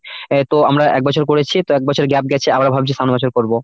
আহ তো আমরা এক বছর করেছি তা এক বছর gap গেছে, আবার ভাবছি সামনের বছর করব।